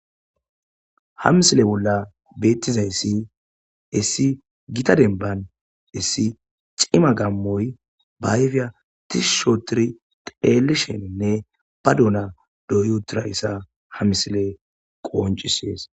Ha misile bolla beetizayssi issi gita dembban issi cima gaamoyi ba ayfiya tishshi oothidi xeelishenne ba doyi uttidayssa ha misiley qonccisesi.